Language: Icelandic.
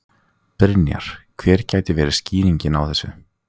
Brynja: Hver gæti verið skýringin á þessu?